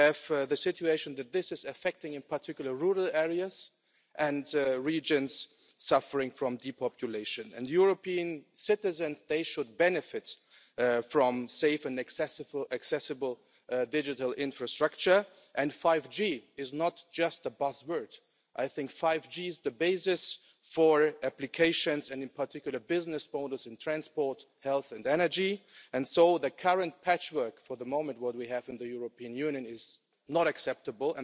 We have the situation that this is affecting, in particular, rural areas and regions suffering from depopulation. European citizens should benefit from safe and accessible digital infrastructure and 5G is not just a buzzword. I think 5G is the basis for applications and, in particular, business models in transport, health and energy, and so the current patchwork that we have for the moment in the European Union is not acceptable.